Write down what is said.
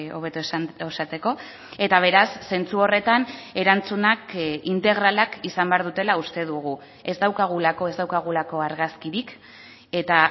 hobeto esateko eta beraz zentzu horretan erantzunak integralak izan behar dutela uste dugu ez daukagulako ez daukagulako argazkirik eta